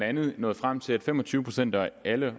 andet nåede frem til at fem og tyve procent af alle